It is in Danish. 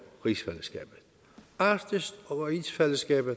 rigsfællesskabet arktis og rigsfællesskabet